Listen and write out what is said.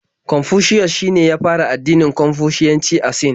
Confucius shine ya fara addinin Konfushiyanci a Sin.